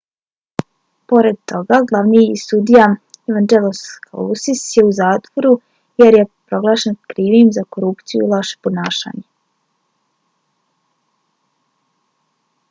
pored toga glavni sudija evangelos kalousis je u zatvoru jer je proglašen krivim za korupciju i loše ponašanje